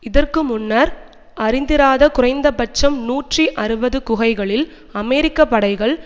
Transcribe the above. இதற்கு முன்னர் அறிந்திராத குறைந்தபட்சம் நூற்றி அறுபது குகைகளில் அமெரிக்க படைகள்